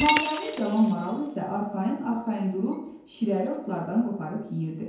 Naməlum cavan maral isə arxayın-arxayın durub şirəli otlardan qoparıb yeyirdi.